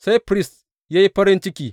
Sai firist ya yi farin ciki.